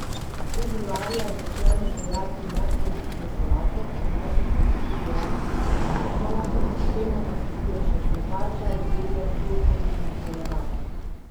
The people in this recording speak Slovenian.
Februarja začnemo sejati mehkolistno solato, obneseta se tudi redkvica in rukola, temu pa sledijo še cvetača, zelje, brokoli in koleraba.